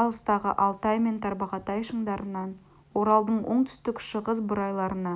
алыстағы алтай мен тарбағатай шыңдарынан оралдың оңтүстік-шығыс бурайларына